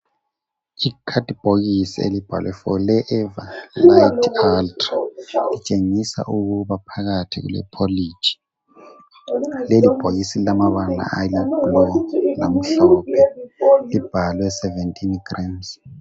Ikhadi bhokisi elibhalwe forever lite ultra litshengisa ukuba phakathi lile poliji lelibhokisi lilamabala ayiblue lamhlophe libhalwe sebentini grams